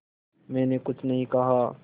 मैंने कुछ नहीं कहा